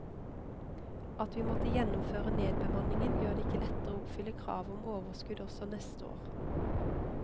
At vi måtte gjennomføre nedbemanningen, gjør det ikke lettere å oppfylle kravet om overskudd også neste år.